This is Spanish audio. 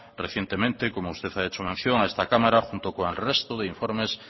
recientemente como usted ha hecho mención a esta cámara junto con el resto de informes